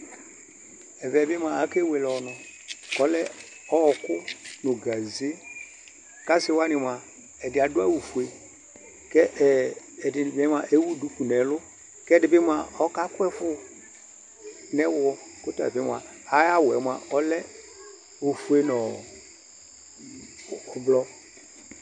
Ɛvɛ bi moa akewele ɔnʋ kʋ ɔlɛ ɔɔkʋ nʋ gaze, kʋ asi wani moa, ɛdi adʋ awʋ fue kɛ ɛ ɛdini bi moa ewu duku nɛlʋ, kɛ ɛdi bi moa ɔkakʋ ɛfʋ nɛ wɔ kʋ ɔtabi moa ayawu yɛ moa ɔlɛ ofue nɔ ɔ ʋblʋɔ